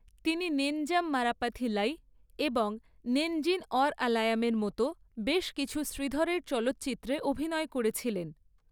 তিনি 'নেঞ্জাম মরপ্পাথিল্লাই' এবং 'নেঞ্জিল অউর আলায়াম'এর মতো বেশ কিছু শ্রীধরের চলচ্চিত্রে অভিনয় করেছিলেন।